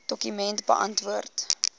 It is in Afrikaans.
dokument beantwoord